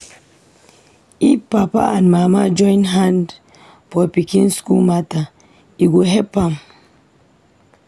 If papa and mama join hand for pikin school matter, e go help am.